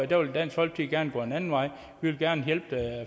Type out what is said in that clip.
der vil dansk folkeparti gå en anden vej vi vil gerne hjælpe